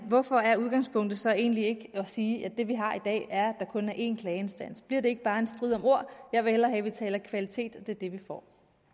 hvorfor er udgangspunktet så egentlig ikke at sige at det vi har i dag er at der kun er én klageinstans bliver det ikke bare en strid om ord jeg vil hellere have vi taler kvalitet og